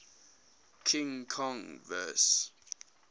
king kong vs